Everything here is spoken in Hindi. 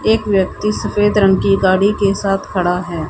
एक व्यक्ति सफेद रंग की गाड़ी के साथ खड़ा है।